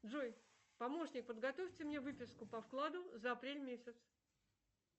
джой помощник подготовьте мне выписку по вкладу за апрель месяц